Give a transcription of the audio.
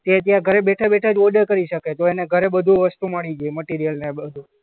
કે જ્યાં ઘરે બેઠા-બેઠા જ ઓર્ડર કરી શકે તો ઘરે બધું વસ્તુ મળી જાય મટીરીયલ ને બધું.